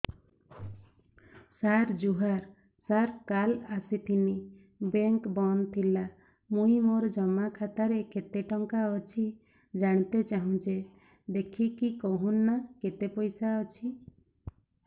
ସାର ଜୁହାର ସାର କାଲ ଆସିଥିନି ବେଙ୍କ ବନ୍ଦ ଥିଲା ମୁଇଁ ମୋର ଜମା ଖାତାରେ କେତେ ଟଙ୍କା ଅଛି ଜାଣତେ ଚାହୁଁଛେ ଦେଖିକି କହୁନ ନା କେତ ପଇସା ଅଛି